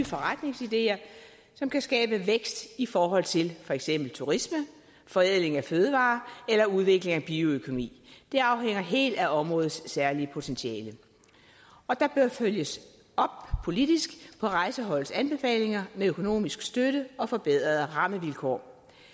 forretningsideer som kan skabe vækst i forhold til for eksempel turisme forædling af fødevarer eller udvikling af bioøkonomi det afhænger helt af områdets særlige potentiale og der bør følges op politisk på rejseholdets anbefalinger med økonomisk støtte og forbedrede rammevilkår